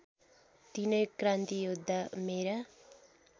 तिनै क्रान्तियोद्धा मेरा